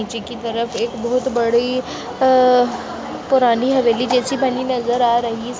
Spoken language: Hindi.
नीचे की तरफ एक बहोत बड़ी अ पुरानी हवेली जैसी बनी नजर आ रही --